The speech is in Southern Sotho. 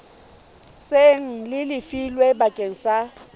seng le lefilwe bakeng sa